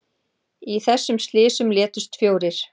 Í þessum slysum létust fjórir